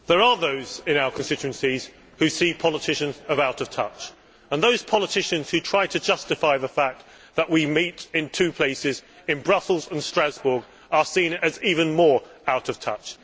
Mr President, there are those in our constituencies who see politicians as out of touch and those politicians who try to justify the fact that we meet in two places, in Brussels and Strasbourg, are seen as even more out of touch.